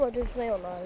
Bu havada üzmək olar?